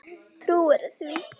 Trúirðu því?